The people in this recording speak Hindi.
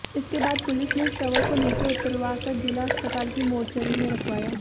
इसके बाद पुलिस ने शवों को नीचे उतरवाकर जिला अस्पताल की मोर्चरी में रखवाया